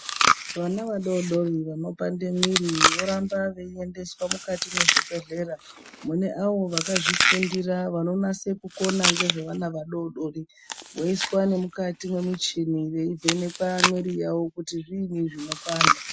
Vana vadori vano panda mwiri voramba veyi endeswa mukati mwe zvibhedhlera mune avo vakazvi fundira vano nase kukona ngezve vana vadodori voiswa ne mukati me muchini vei vhenekwa mwiri yavo kuti zviini zvinopanda.